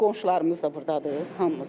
Bütün qonşularımız da burdadır hamımız.